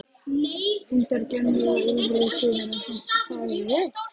Hundar gjömmuðu og ýlfruðu sumir en fólk þagði.